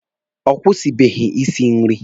Ọ kwụsịbeghi isi nri.